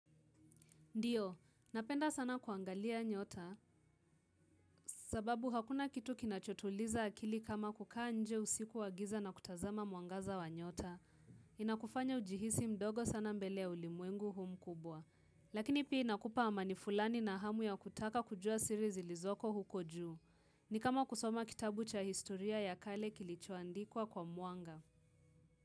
Ndiyo, napenda sana kuangalia nyota, sababu hakuna kitu kinachotuliza akili kama kukaa nje usiku wagiza na kutazama mwangaza wanyota. Inakufanya ujihisi mdogo sana mbele ulimwengu hu mkubwa. Lakini pia inakupa amani fulani na hamu ya kutaka kujua siri zilizoko huko juu. Ni kama kusoma kitabu cha historia ya kale kilichoandikwa kwa muanga.